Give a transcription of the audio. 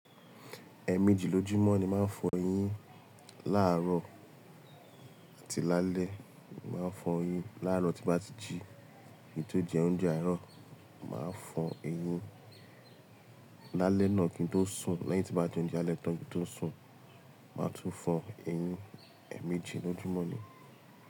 Ẹẹ̀ méjì lójúmọ́ ni máa ń fọ eyín. Láàárọ̀ àti lálẹ́. Máa ń fọ eyín láàárọ̀ tí bá ti jí, kí n tó jẹ oúnjẹ àárọ̀. Máa fọ eyín lálẹ́ náà kí n tó sùn. Lẹ́yìn tí bá jẹ oúnjẹ alẹ́ tán kí n tó sùn, màá tún fọ eyín. Ẹ̀ méjì lójúmọ́ ni.